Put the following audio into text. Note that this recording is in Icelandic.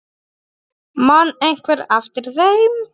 Man einhver eftir þeim?